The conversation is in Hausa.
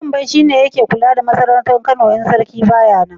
Wambai shi ne yake kula da masarautar Kano idan sarki ba ya nan.